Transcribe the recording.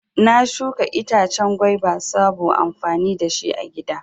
Na shuka itace gwaiba sabo amfani dashi agida